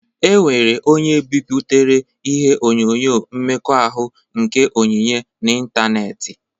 E nwere onye biputere ihe onyonyo mmekọahụ nke Onyinye n'ịntanetị.